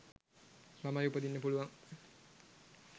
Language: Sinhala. ළමයි උපදින්න පුළුවන්.